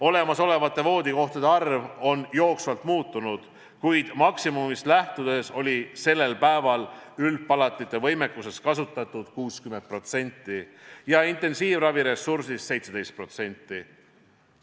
Olemasolevate voodikohtade arv on jooksvalt muutunud, kuid maksimumist lähtudes oli sellel päeval üldpalatite võimekusest kasutatud 60% ja intensiivraviressursist 17%.